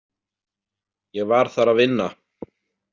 Ég var þar að vinna.